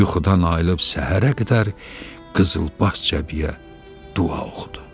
Yuxudan ayılıb səhərə qədər qızılbaş cəbiyə dua oxudu.